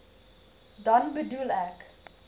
dan bedoel ek